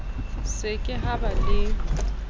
se ke ha ba le